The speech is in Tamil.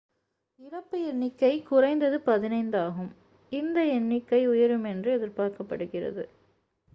இறப்பு எண்ணிக்கை குறைந்தது 15 ஆகும் இந்த எண்ணிக்கை உயரும் என்று எதிர்பார்க்கப்படுகிறது